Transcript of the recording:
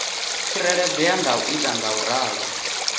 tsireledzea nga u ita ngauralo